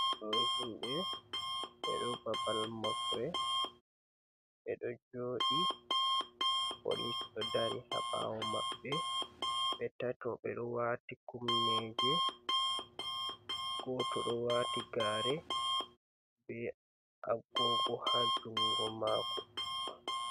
Ɗo himɓe, ɓe ɗo babal mofre ɓe ɗo joɗi, polis ɗo dari haɓawo maɓɓe, ɓe tato ɓe ɗo wati kumneje, goto ɗo wati gare be agogo ha jungo mako.